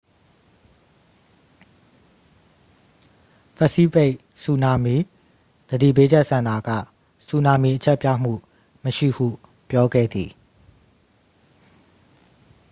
ပစိဖိတ် ဆူနာမီ သတိပေးချက် စင်တာက ဆူနာမီ အချက်ပြမှု မရှိဟု ပြောခဲ့သည်